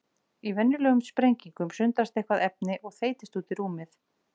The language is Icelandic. Í venjulegum sprengingum sundrast eitthvert efni og þeytist út í rúmið.